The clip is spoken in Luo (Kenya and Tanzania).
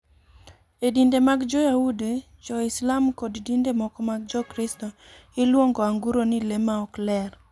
E dinde mag Jo-Yahudi, Jo-Islam, kod dinde moko mag Jokristo, iluongo anguro ni le ma ok ler.